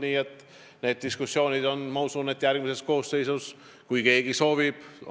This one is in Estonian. Nii et need diskussioonid seisavad ees järgmises koosseisus, kui keegi seda soovib.